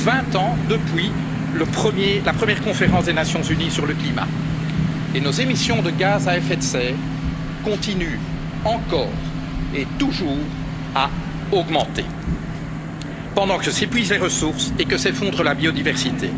plus de vingt ans depuis la première conférence des Nations unies sur le climat, et nos émissions de gaz à effet de serre continuent encore et toujours à augmenter, pendant que s'épuisent les ressources et que s'effondre la biodiversité.